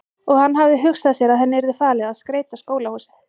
Og hann hafði hugsað sér að henni yrði falið að skreyta skólahúsið.